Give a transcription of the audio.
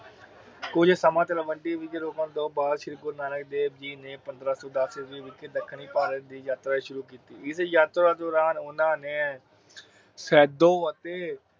ਕੁਜ ਸਮਾਂ ਮੰਡੀ ਵਿਚ ਰੁਕਣ ਤੋਂ ਬਾਦ ਸ਼੍ਰੀ ਗੁਰੂ ਨਾਨਕ ਦੇਵ ਜੀ ਪੰਦਰਾਂ ਸੋ ਦਸ ਈਸਵੀ ਵਿਚ ਦੱਖਣੀ ਭਾਰਤ ਦੀ ਯਾਤਰਾ ਸ਼ੁਰੂ ਕੀਤੀ। ਇਸ ਯਾਤਰਾ ਦੋਰਾਨ ਓਹਨਾ ਨੇ ਖੇਦੋ ਅਤੇ